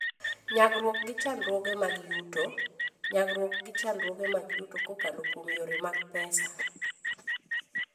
Nyagruok gi Chandruoge mag Yuto: Nyagruok gi chandruoge mag yuto kokalo kuom yore mag pesa.